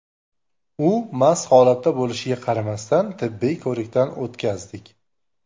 U mast holatda bo‘lishiga qaramasdan, tibbiy ko‘rikdan o‘tkazdik.